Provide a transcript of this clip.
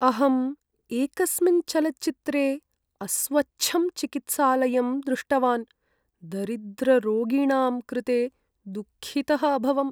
अहम् एकस्मिन् चलच्चित्रे अस्वच्छं चिकित्सालयं दृष्टवान्, दरिद्ररोगिणां कृते दुःखितः अभवम्।